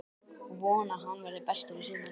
Ég vona að hann verði bestur í sumar.